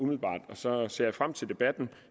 så ser frem til debatten